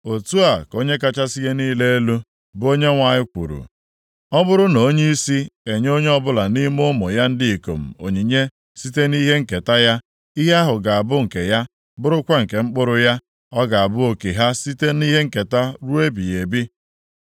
“ ‘Otu a ka Onye kachasị ihe niile elu, bụ Onyenwe anyị kwuru, ọ bụrụ na onyeisi enye onye ọbụla nʼime ụmụ ya ndị ikom onyinye site nʼihe nketa ya, ihe ahụ ga-abụ nke ya, bụrụkwa nke mkpụrụ ya, ọ ga-abụ oke ha site nʼihe nketa ruo ebighị ebi.